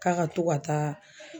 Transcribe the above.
K'a ka to ka taa